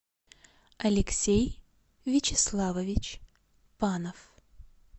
алексей вячеславович панов